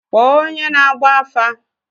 Kpọọ onye na-agba afa!